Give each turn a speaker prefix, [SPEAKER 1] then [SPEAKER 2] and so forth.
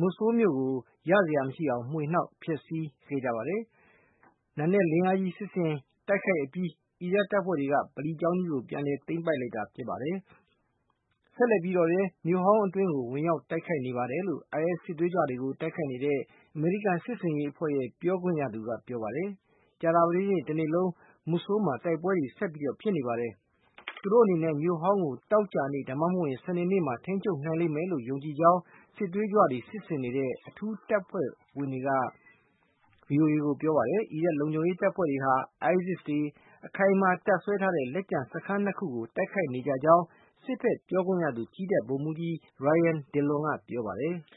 [SPEAKER 1] Mosul မြို့ကို ရစရာမရှိအောင် မွှေနှောက် ဖျက်ဆီးခဲ့ကြပါတယ်။ နံနက်လင်းအားကြီး စစ်ဆင်တိုက်ခိုက်အပြီး အီရတ်တပ်ဖွဲ့တွေက ဗလီကျောင်းကြီးကို ပြန်လည်သိမ်းပိုက်လိုက်တာ ဖြစ်ပါတယ်။ ဆက်လက်ပြီးတော့လည်း မြို့ဟောင်း အတွင်းကို ဝင်ရောက် တိုက်ခိုက်နေပါတယ်လို့ IS စစ်သွေးကြွတွေကို တိုက်ခိုက်နေတဲ့ အမေရိကန် စစ်ဆင်ရေးအဖွဲ့ ပြောခွင့်ရသူ က ပြောပါတယ်။ ကြာသာပတေးနေ့ တနေ့လုံး မူဆိုးလ်မှာ တိုက်ပွဲတွေ ဆက်ဖြစ်နေပါတယ်။ သူတို့အနေနဲ့ မြို့ဟောင်းကို သောကြာနေ့ ဒါမှ မဟုတ် စနေနေ့မှာ ထိန်းချုပ်နိုင်လိမ့်မယ်လို့ ယုံကြည်ကြောင်း စစ်သွေးကြွတွေကို စစ်ဆင်နေတဲ့ အထူးတပ်ဖွဲ့ဝင် တွေက VOA ကို ပြောပါတယ်။ အီရတ် လုံခြုံရေးတပ်ဖွဲ့တွေဟာ ISIS တွေ အခိုင်အမာတပ်စွဲထားတဲ့ လက်ကျန် စခန်း ၂ ခုကို တိုက်ခိုက်နေကြကြောင်း စစ်ဖက် ပြောခွင့်ရသူ ကြည်းတပ် ဗိုလ်မှုးကြီး Ryan Dillon က ပြောပါတယ်။